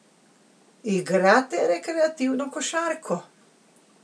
Igrate rekreativno košarko?